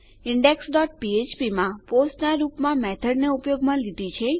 index dot ફ્ફ્પ માં post ના રૂપમાં મેથોડ ને ઉપયોગમાં લીધી